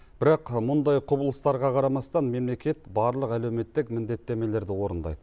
бірақ мұндай құбылыстарға қарамастан мемлекет барлық әлеуметтік міндеттемелерді орындайды